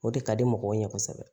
O de ka di mɔgɔw ye kosɛbɛ